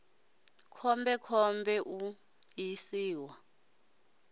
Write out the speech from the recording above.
khombe khombe u ṱo ḓisisa